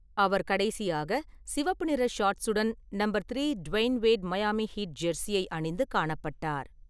அவர் கடைசியாக சிவப்பு நிற ஷார்ட்ஸுடன் number three Dwyane Wade Miami Heat ஜெர்சியை அணிந்து காணப்பட்டார்.